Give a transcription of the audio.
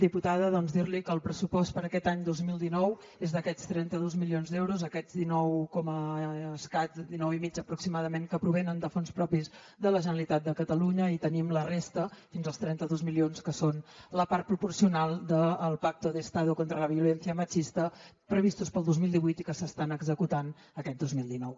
diputada doncs dir li que el pressupost per a aquest any dos mil dinou és d’aquests trenta dos milions d’euros aquests dinou i escaig dinou i mig aproximadament que provenen de fons propis de la generalitat de catalunya i tenim la resta fins als trenta dos milions que són la part proporcional del pacto de estado contra la violencia machista previstos per al dos mil divuit i que s’estan executant aquest dos mil dinou